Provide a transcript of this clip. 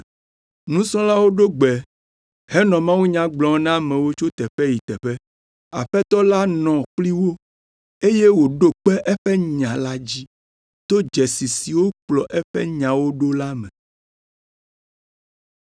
Nusrɔ̃lawo ɖo gbe henɔ mawunya gblɔm na amewo tso teƒe yi teƒe, Aƒetɔ la nɔ kpli wo eye wòɖo kpe eƒe nya la dzi to dzesi siwo kplɔ eƒe nyawo ɖo la me.